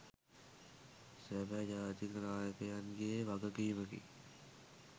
සබැ ජාතික නායකයන්ගේ වගකීමකි